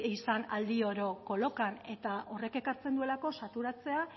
izan aldi oro kolokan eta horrek ekartzen duelako saturatzea